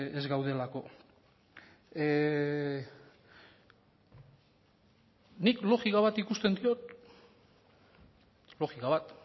ez gaudelako nik logika bat ikusten diot logika bat